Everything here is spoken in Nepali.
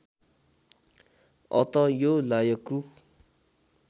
अत यो लायकु